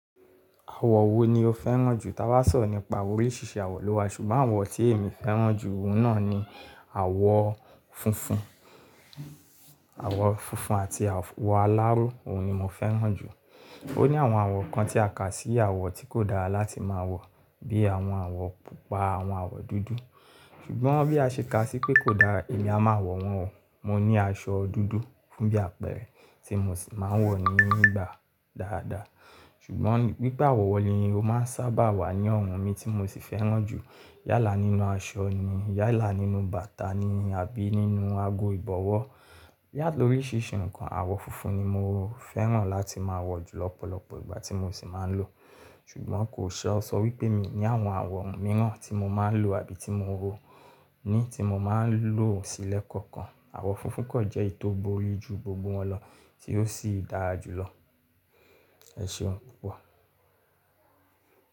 Àwọ̀ wo ni o fẹ́ràn jù? Ta bá sọ̀ro nípa oríṣiríṣi àwọ̀ lọ́wọ́, ṣùgbọ́n àwọ̀ tí èmi fẹ́ràn jù, ohun náà ni àwọ̀ funfun. Àwọ̀ funfun àti àwọ̀ aláró, òhun ni mo fẹ́ràn jù. Ó ní àwọn àwọ̀ kan tí a kà sí àwọ̀ tí kò dára láti máa wọ̀, bí i àwọn àwọ̀ Pupa, àwọn àwọ̀ dúdú. Ṣùgbọ́n bí a ṣe kà sí pé kò dára èmi, a máa wọ̀ wọ́n o. Mo ní aṣọ dúdú fún bí àpẹrẹ tí mo sì máa ń wọ̀ ní ìgbà dáadáa. Ṣùgbọ́n wipe àwọ̀ ni mo máa ń sábà wà ní ọrùn mi tí mo sì fẹ́ràn jù. Yálà nínú aṣọ ni, yálà nínú bàtà ni àbí nínú ago ìbọ̀wọ́. Yàtọ̀ oríṣiríṣi ǹkan, àwọ̀ funfun ni mo fẹ́ràn láti máa wọ̀ jù lọ́pọ̀lọpọ̀ ìgbà tí mo sì máa ń lò. Ṣùgbọ́n kò ṣe ó sọ wípé mi ní àwọn àwọ̀ mìíràn tí mo máa ń lò àbí tí mo ó ní tí mo máa ń lò sílẹ̀ kankan. Àwọ̀ funfun kan jẹ́ èyí tó burí ju gbogbo wọn lọ tí ó sì dára jùlọ. Ẹ ṣeun púpọ̀.